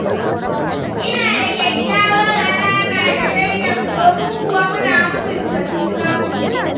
Ina da kyakkyawar alaƙa da Zainab, domin kuwa muna mutun ta junanmu.